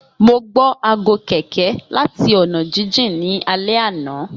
Mo gbọ aago kẹ̀kẹ́ lati ọna jijin ni alẹ ana.